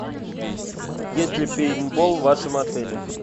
есть ли пейнтбол в вашем отеле